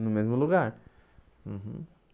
No mesmo lugar uhum.